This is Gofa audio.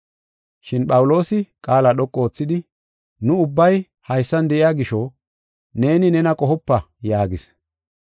Shin Phawuloosi qaala dhoqu oothidi “Nu ubbay haysan de7iya gisho neeni nena qohopa” yaagis.